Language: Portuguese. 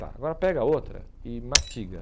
Tá, agora pega outra e mastiga.